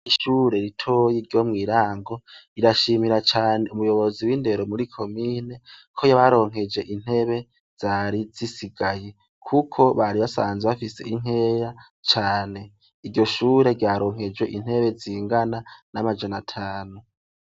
Ishure ritoyi ryo mw' Irango, rirashimira cane umuyobozi w' indero muri comine, ko yabaronkeje intebe zari zisigaye. Kuko bari basanzwe bafise inkeya cane. Iryo shure ryaronkejwe intebe zingana n' amajana atanu